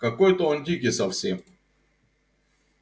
какой-то он дикий совсем